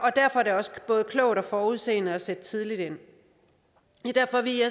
er det også både klogt og forudseende at sætte tidligt ind det er derfor vi